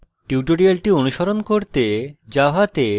tutorial অনুসরণ করতে জাভাতে